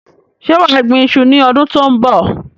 Ṣé wà á gbín ìṣu ní ọdún tó ń bọ̀?